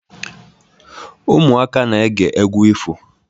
Ụmụaka na-ege egwu ifo.